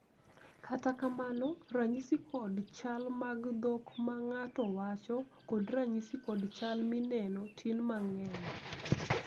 kata kamano, ranyisi kod chal mag dhok ma ng'ato wacho kod ranyisi kod chal mineno tin mang'eny